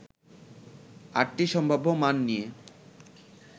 ৮টি সম্ভাব্য মান নিয়ে